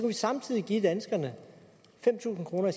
vi samtidig give danskerne fem tusind kroner